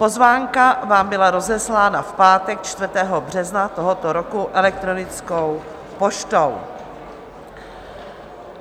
Pozvánka vám byla rozeslána v pátek 4. března tohoto roku elektronickou poštou.